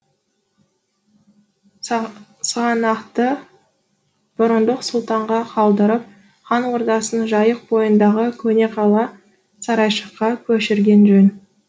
сығанақты бұрындық сұлтанға қалдырып хан ордасын жайық бойындағы көне қала сарайшыққа көшірген жөн